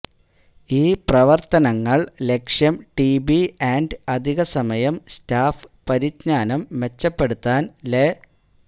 ഈ പ്രവർത്തനങ്ങൾ ലക്ഷ്യം ടിബി ആൻഡ് അധികസമയം സ്റ്റാഫ് പരിജ്ഞാനം മെച്ചപ്പെടുത്താൻ ലെ